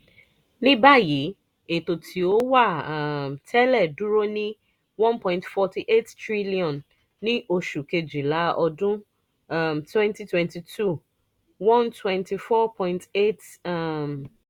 nibayi eto ti o wa um tẹlẹ duro ni n one point four eight trillion ni oṣu kejila ọdun um twenty twenty two n one hundred twenty four point eight um